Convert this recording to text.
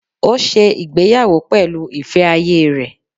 Ó se ìgbéyàwó pẹ̀lú ìfẹ́ ayé rẹ̀